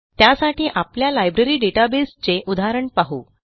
त्यासाठी आपल्या library database चे उदाहरण पाहू